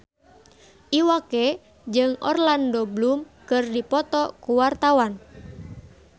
Iwa K jeung Orlando Bloom keur dipoto ku wartawan